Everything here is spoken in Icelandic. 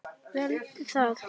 Veldu það.